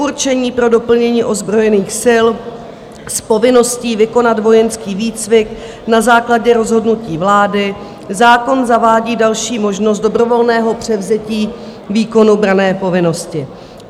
Předurčení pro doplnění ozbrojených sil s povinností vykonat vojenský výcvik na základě rozhodnutí vlády zákon zavádí další možnost dobrovolného převzetí výkonu branné povinnosti.